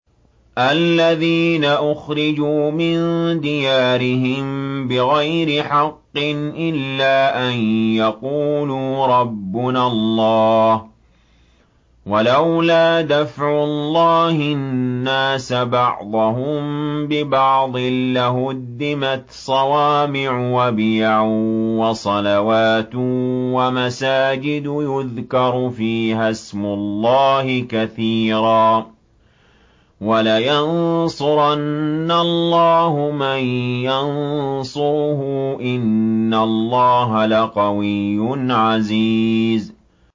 الَّذِينَ أُخْرِجُوا مِن دِيَارِهِم بِغَيْرِ حَقٍّ إِلَّا أَن يَقُولُوا رَبُّنَا اللَّهُ ۗ وَلَوْلَا دَفْعُ اللَّهِ النَّاسَ بَعْضَهُم بِبَعْضٍ لَّهُدِّمَتْ صَوَامِعُ وَبِيَعٌ وَصَلَوَاتٌ وَمَسَاجِدُ يُذْكَرُ فِيهَا اسْمُ اللَّهِ كَثِيرًا ۗ وَلَيَنصُرَنَّ اللَّهُ مَن يَنصُرُهُ ۗ إِنَّ اللَّهَ لَقَوِيٌّ عَزِيزٌ